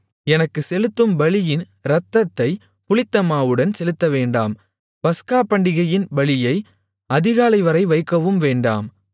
எனக்கு செலுத்தும் பலியின் இரத்தத்தைப் புளித்தமாவுடன் செலுத்தவேண்டாம் பஸ்கா பண்டிகையின் பலியை அதிகாலைவரை வைக்கவும் வேண்டாம்